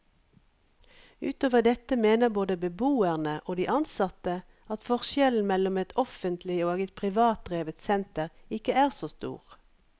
Utover dette mener både beboerne og de ansatte at forskjellen mellom et offentlig og et privatdrevet senter ikke er så stor.